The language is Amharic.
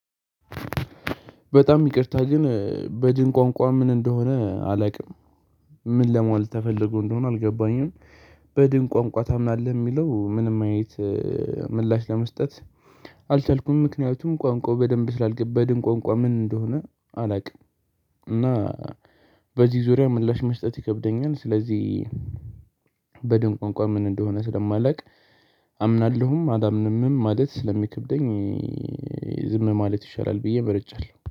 በጣም ይቅርታ ግን በድን ቋንቋ ምን እንደሆነ አላቅም። ምን ለማለት ተፈለጎ እንደሆነ አልገባኝም። በድን ቋንቋ ታምናለህ ሚለው ምንም ማየት? ምላሽ ለመስጠት አልቻልኩም። ምክንያቱም ቋንቋው በደንብ ስላልገባ በድን ቋንቋ ምን እንደሆነ አላቅም። እና በዚህ ዙሪያ ምላሽ መስጠት ይከብደኛል። ስለዚህ በድን ቋንቋ ምን እንደሆነ ስለማላቅ አምናለሁም አላምንምም ማለት ስለሚከብደኝ። ዝም ማለት ይሻላል ብዬ ምርጫለሁ